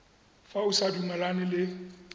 fa o sa dumalane le